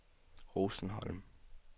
Rosenholm